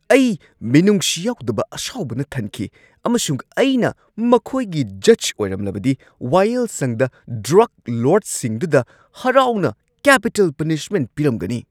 ꯑꯩ ꯃꯤꯅꯨꯡꯁꯤ ꯌꯥꯎꯗꯕ ꯑꯁꯥꯎꯕꯅ ꯊꯟꯈꯤ ꯑꯃꯁꯨꯡ ꯑꯩꯅ ꯃꯈꯣꯏꯒꯤ ꯖꯖ ꯑꯣꯏꯔꯝꯂꯕꯗꯤ ꯋꯥꯌꯦꯜꯁꯪꯗ ꯗ꯭ꯔꯒ ꯂꯣꯔꯗꯁꯤꯡꯗꯨꯗ ꯍꯔꯥꯎꯅ ꯀꯦꯄꯤꯇꯦꯜ ꯄꯅꯤꯁꯃꯦꯟꯠ ꯄꯤꯔꯝꯒꯅꯤ ꯫